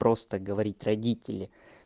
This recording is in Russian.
просто говорить родители